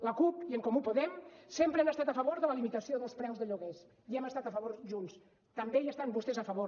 la cup i en comú podem sempre han estat a favor de la limitació dels preus de lloguers hi hem estat a favor junts també hi estan vostès a favor